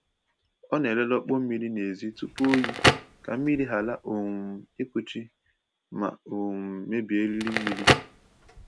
Ọ na-elele ọkpọ mmiri n’èzí tupu oyi ka mmiri ghara um ịkuchi ma um mebie eriri mmiri.